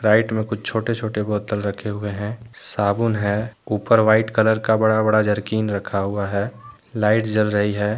Right मे कुछ छोटे छोटे बोतल रखे हुए हैं साबुन है ऊपर व्हाइट कलर का बड़ा बड़ा जर्किन रखा हुआ है लाइट जल रही है।